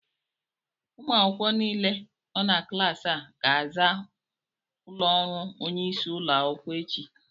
ụmụ akwụkwọ niile nọ na klaasị a ga-aza ụlọ ọrụ onye isi ụlọ akwụkwọ echi